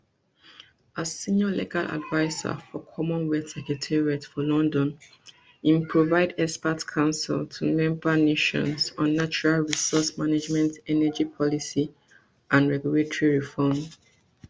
as senior legal adviser for commonwealth secretariat for london im provide expert counsel to member nations on natural resource management energy policy and regulatory reforms